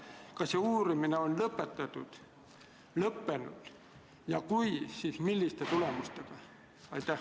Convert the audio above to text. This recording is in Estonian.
Kas see uurimine on lõpetatud, kas see on lõppenud ja kui on, siis milliste tulemustega?